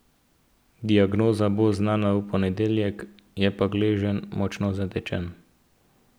Diagnoza bo znana v ponedeljek, je pa gleženj močno zatečen.